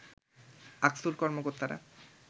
আকসুর কর্মকর্তারা